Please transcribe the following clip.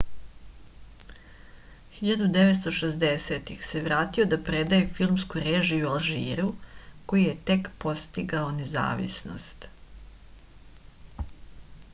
1960-ih se vratio da predaje filmsku režiju u alžiru koji je tek postigao nezavisnost